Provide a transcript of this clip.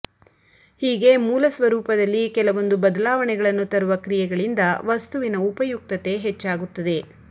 ಹೀಗೆ ಮೂಲ ಸ್ವರೂಪದಲ್ಲಿ ಕೆಲವೊಂದು ಬದಲಾವಣೆಗಳನ್ನು ತರುವ ಕ್ರಿಯೆಗಳಿಂದ ವಸ್ತುವಿನ ಉಪಯುಕ್ತತೆ ಹೆಚ್ಚಾಗುತ್ತದೆ